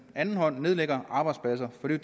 anden hånd nedlægger arbejdspladser for det